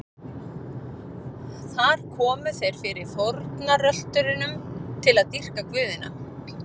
Þar komu þeir fyrir fórnarölturum til að dýrka guðina.